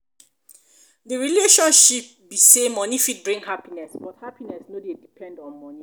di relationship be say money fit bring happiness but happiness no dey depend on money.